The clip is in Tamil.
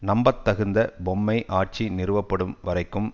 நம்பத்தகுந்த பொம்மை ஆட்சி நிறுவப்படும் வரைக்கும்